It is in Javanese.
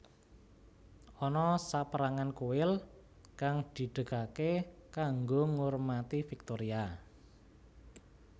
Ana saperangan kuil kang didegake kanggo ngurmati Viktoria